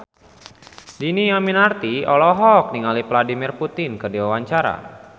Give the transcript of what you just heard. Dhini Aminarti olohok ningali Vladimir Putin keur diwawancara